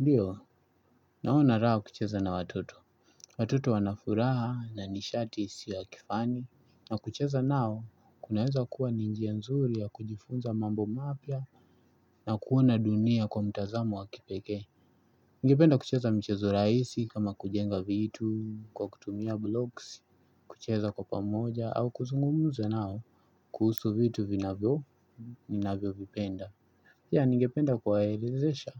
Ndiyo, naona raha kucheza na watoto. Watoto wanafuraha na nishati isiyo kifani. Na kucheza nao, kunaeza kuwa ninjia nzuri ya kujifunza mambo mapia na kuona dunia kwa mtazamo wakipeke. Ningependa kucheza michezo raisi kama kujenga vitu, kwa kutumia blocks, kucheza kwa pamoja, au kuzungumuza nao kuhusu vitu vinavyo, vinavyo vipenda. Ya ningependa kuwaelezesha,